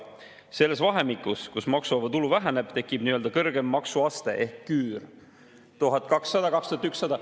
Selles vahemikus, kus maksuvaba tulu väheneb, tekib nii-öelda kõrgem maksuaste ehk küür, 1200–2100 …